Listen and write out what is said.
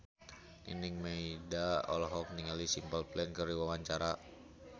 Nining Meida olohok ningali Simple Plan keur diwawancara